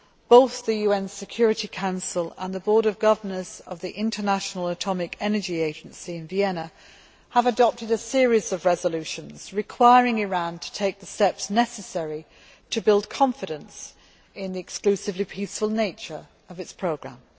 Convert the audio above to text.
Both the UN Security Council and the Board of Governors of the International Atomic Energy Agency in Vienna have adopted a series of resolutions requiring Iran to take the steps necessary to build confidence in the exclusively peaceful nature of its programme.